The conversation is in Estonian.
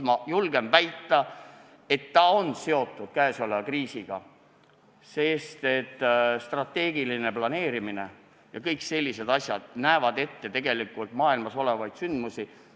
Ma julgen väita, et see on seotud käesoleva kriisiga, sest strateegiline planeerimine ja kõik sellised asjad näevad ette maailmas juhtuda võivaid sündmusi.